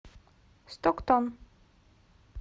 стоктон